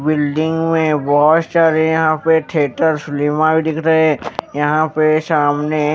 building में बहुत सारे यहां पे थिएटर फिल्म भी दिख रहे है यहां पे सामने---